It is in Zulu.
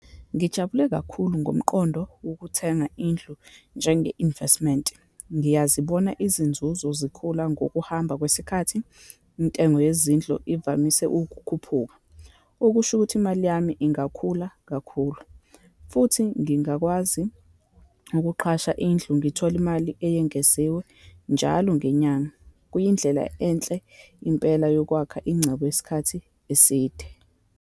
Ngijabule kakhulu ngomqondo wokuthenga indlu njenge-investment. Ngiyazibona izinzuzo zikhula ngokuhamba kwesikhathi. Intengo yezindlu ivamise ukukhuphuka, okusho ukuthi imali yami ingakhula kakhulu, futhi ngingakwazi ukuqasha indlu, ngithole imali eyengeziwe njalo ngenyanga. Kuyindlela enhle impela yokwakha incebo yesikhathi eside.